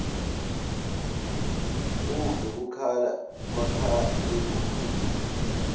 uve kukhala makhalekhukhwini